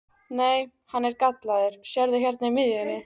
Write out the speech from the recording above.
Nei, hann er gallaður, sérðu hérna í miðjunni.